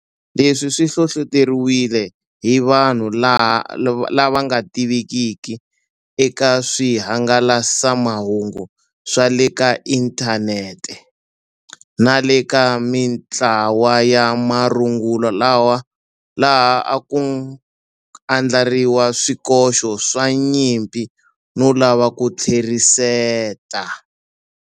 Leswi swi hlohloteriwile hi vanhu lava nga tivekiki eka swihangalasamahungu swa le ka inthanete nale ka mitlawa ya marungula laha a ku andlariwa swikoxo swa nyimpi no lava ku tlheriseta.